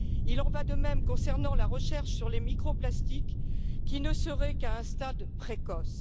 Il en va de même concernant la recherche sur les microplastiques, qui n'en serait qu'à un stade précoce.